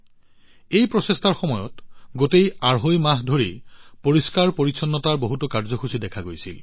এই প্ৰচেষ্টাৰ সময়ত গোটেই আঢ়ৈ মাহ ধৰি পৰিষ্কাৰপৰিচ্ছন্নতাৰ বহুতো কাৰ্যসূচী দেখা গৈছিল